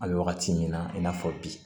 An bɛ wagati min na i n'a fɔ bi